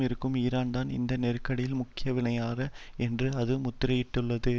இருக்கும் ஈரான்தான் இந்த நெருக்கடியில் முக்கிய வினையாளர் என்று அது முத்திரையிட்டுள்ளது